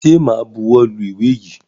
Ṣẹ máa buwọ́ lu ìwé yìí?